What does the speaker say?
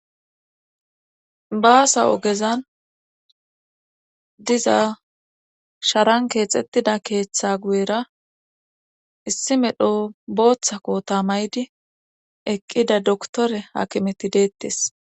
Baasa ogezan diza sharan keexettida keeththa guyera issi medho booththako tamaydi eqqida doktore hakimeti deettes